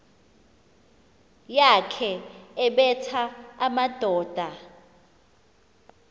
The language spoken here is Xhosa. yakhe ebetha amadoda